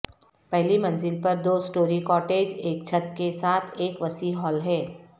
پہلی منزل پر دو اسٹوری کاٹیج ایک چھت کے ساتھ ایک وسیع ہال ہے